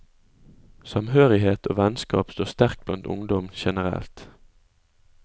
Samhørighet og vennskap står sterkt blant ungdom generelt.